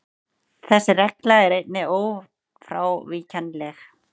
Þessi regla er einnig ófrávíkjanleg.